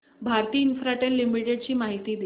Bharti Infratel Limited ची माहिती दे